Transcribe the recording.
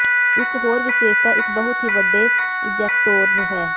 ਇਕ ਹੋਰ ਵਿਸ਼ੇਸ਼ਤਾ ਇਕ ਬਹੁਤ ਹੀ ਵੱਡੇ ਇਜੈਕਟੋਰ ਹੈ